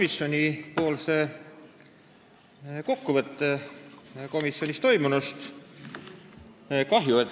Esitan kokkuvõtte põhiseaduskomisjonis toimunust.